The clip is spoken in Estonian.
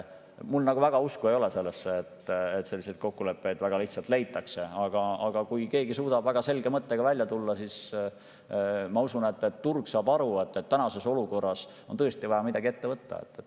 Mul nagu väga usku ei ole sellesse, et selliseid kokkuleppeid väga lihtsalt leitakse, aga kui keegi suudab väga selge mõttega välja tulla, siis ma usun, et turg saab aru, et praeguses olukorras on tõesti vaja midagi ette võtta.